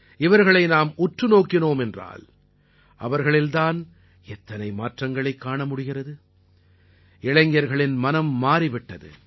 இவர்களை நாம் உற்று நோக்கினோம் என்றால் அவர்களில் தான் எத்தனை மாற்றங்களைக் காண முடிகிறது இளைஞர்களின் மனம் மாறிவிட்டது